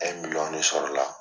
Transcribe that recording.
ne sɔrɔ la.